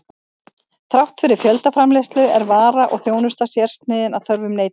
Þrátt fyrir fjöldaframleiðslu er vara og þjónusta sérsniðin að þörfum neytandans.